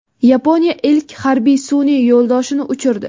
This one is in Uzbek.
Yaponiya ilk harbiy sun’iy yo‘ldoshini uchirdi.